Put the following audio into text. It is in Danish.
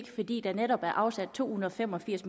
fordi der netop er afsat to hundrede og fem og firs